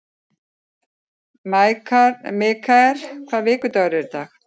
Mikkel, hvaða vikudagur er í dag?